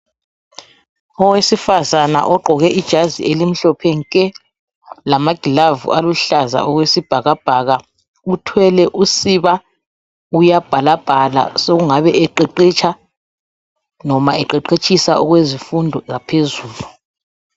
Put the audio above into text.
Owesifazana ogqoke ijazi elimhlophe nke lama glavu aluhlaza okwesibhakabhaka uthwele usiba uyabhala bhala sokungabe eqeqetsha noma eqeqetshisa okwezifundo zaphezulu.